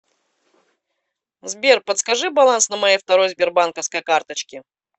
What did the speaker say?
сбер подскажи баланс на моей второй сбербанковской карточке